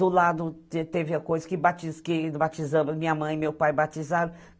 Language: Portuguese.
Do lado, teve teve a coisa que batiz que batizamos, minha mãe e meu pai batizaram.